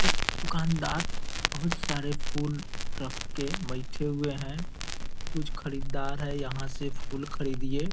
एक दुकानदार बहुत सारे फूल रख के बैठे हुए हैं। कुछ खरीददार है यहाँ से फूल खरीदिए।